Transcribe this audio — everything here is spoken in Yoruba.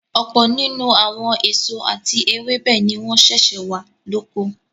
Ọ̀pọ̀ nínú àwọn èso àti ewébẹ̀ ni wọ́n sẹ̀sẹ̀ wà lóko.